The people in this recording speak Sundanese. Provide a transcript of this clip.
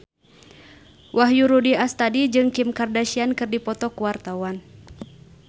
Wahyu Rudi Astadi jeung Kim Kardashian keur dipoto ku wartawan